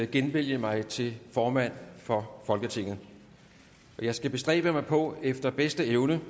genvælge mig til formand for folketinget jeg skal bestræbe mig på efter bedste evne